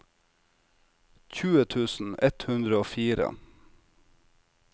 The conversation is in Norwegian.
tjue tusen ett hundre og fire